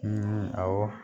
awɔ